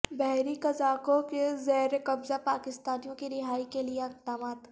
بحری قزاقوں کے زیرقبضہ پاکستانیوں کی رہائی کے لیے اقدامات